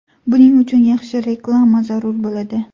Buning uchun yaxshi reklama zarur bo‘ladi.